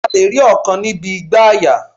A lè rí ọkàn níbi igbàyà